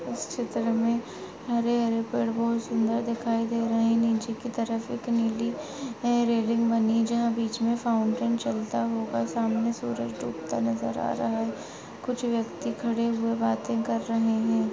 इस छेत्र मे हरे हरे पेड़ बहुत सुंदर दिखाई दे रहे हैं नीचे की तरफ एक नीली रैलिंग बनी है जहाँ बीच मे फॉउन्टेन चलता होगा और सामने सूरज डूबता नजर आ रहा है कुछ व्यक्ति खड़े हुए बातें कर रहे हैं।